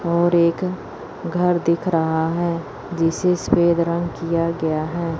और एक घर दिख रहा है जिसे सफेद रंग किया गया है।